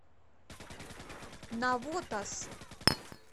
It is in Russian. навотас